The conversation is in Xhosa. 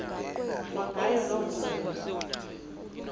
kwangayo loo ndlela